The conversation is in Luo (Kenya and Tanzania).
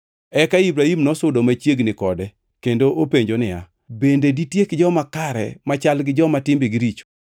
Eka Ibrahim nosudo machiegni kode kendo openjo niya, “Bende ditiek joma kare machal gi joma timbegi richo?